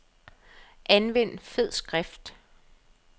Anvend fed skrift.